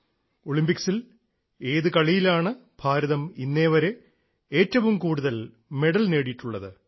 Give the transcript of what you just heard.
ഒളിമ്പിക്സിൽ ഏത് കളിയിലാണ് ഭാരതം ഇന്നേവരെ ഏറ്റവും കൂടുതൽ മെഡൽ നേടിയിട്ടുള്ളത്